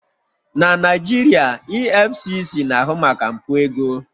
Na Naijiria, EFCC na-ahụ maka mpụ ego